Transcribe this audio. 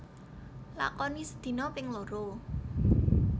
Lakoni sedina ping loro